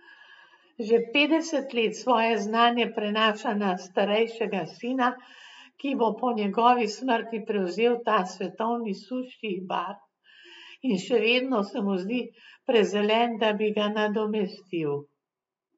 Že petdeset let svoje znanje prenaša na starejšega sina, ki bo po njegovi smrti prevzel ta svetovni suši bar in še vedno se mu zdi prezelen, da bi ga nadomestil.